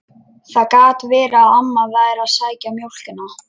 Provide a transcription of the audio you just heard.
Það gat verið að amma væri að sækja mjólkina.